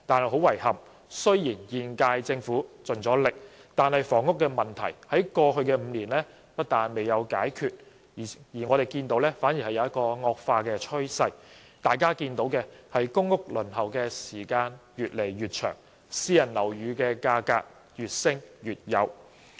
很遺憾，雖然現屆政府已盡力，但房屋問題在過去5年不但未有解決，反而有惡化的趨勢。大家看到公屋輪候時間越來越長，而私人樓宇價格則越升越高。